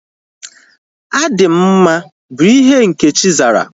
Adị m mma bụ ihe Nkechi zara